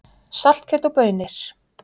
Saltkjöt og baunir